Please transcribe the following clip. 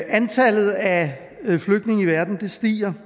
antallet af flygtninge i verden stiger